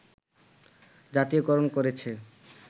জাতীয়করণ করেছে